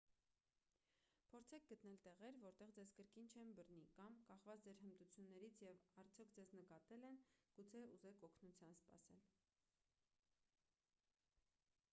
փորձեք գտնել տեղեր որտեղ ձեզ կրկին չեն բռնի կամ կախված ձեր հմտություններից և արդյոք ձեզ նկատել են գուցե ուզեք օգնություն սպասել